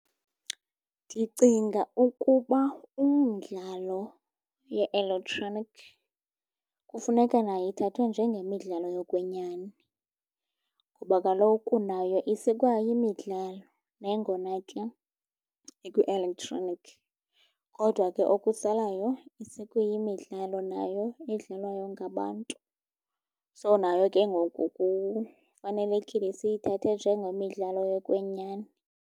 Ndicinga ukuba umdlalo ye-electronic kufuneka nayo ithathwe njengeemidlalo yokwenyani, kuba kaloku nayo isekwayimidlalo nangona ke ikwi-electronic. Kodwa ke okusalayo isekwayimidlalo nayo edlalwayo ngabantu. So, nayo ke ngoku kufanelekile siyithathe njengemidlalo yokwenyani.